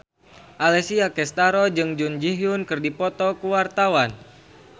Alessia Cestaro jeung Jun Ji Hyun keur dipoto ku wartawan